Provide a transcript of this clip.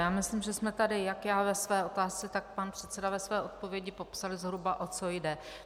Já myslím, že jsme tady jak já ve své otázce, tak pan předseda ve své odpovědi popsali zhruba, o co jde.